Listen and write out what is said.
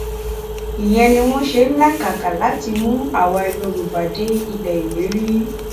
ìyẹn ni wọn ṣe ń làkàkà láti mú àwa yorùbá dé ilẹ ìlérí